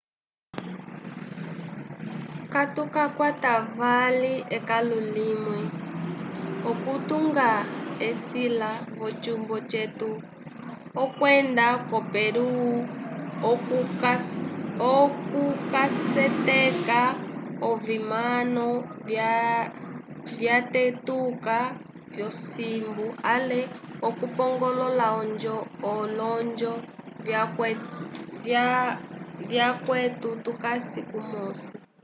katukakwata vali ekãlu limwe okutunga esĩla v'ocumbo cetu okwenda ko peru okukaseteka ovimano vyatetuka vyosimbu ale okupongolola olonjo vyakwetu tukasi kumosi